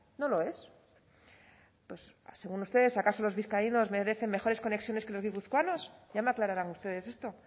no lo es según ustedes acaso los vizcaínos merecen mejores conexiones que los guipuzcoanos ya me aclararán ustedes esto